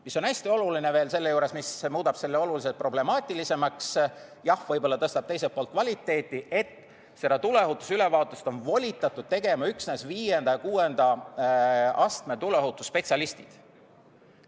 Mis on hästi oluline selle juures, mis muudab selle oluliselt problemaatilisemaks, ehkki tõstab teiselt poolt ka kvaliteet: seda tuleohutusülevaatust on volitatud tegema üksnes 5. ja 6. astme tuleohutusspetsialistid.